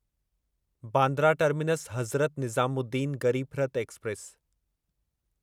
Bandra terminus Hazrat Nizamuddin Garib Rath express